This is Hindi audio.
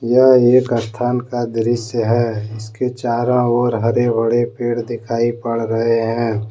यह एक स्थान का दृश्य है उसके चारों ओर हरे भरे पेड़ दिखाई पड़ रहे हैं।